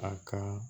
A ka